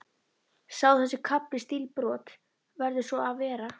Sé þessi kafli stílbrot, verður svo að vera.